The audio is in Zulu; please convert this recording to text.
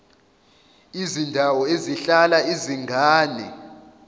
izindawo ezihlala izingane